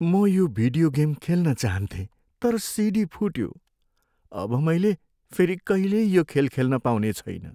म यो video game खेल्न चाहन्थेँ तर सिडी फुट्यो। अब मैले फेरि कहिल्यै यो खेल खेल्न पाउने छैन।